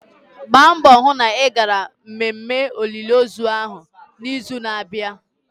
Gba mbọ hụ na ị gara mmemme olili ozu ahụ na-izu n'abịa!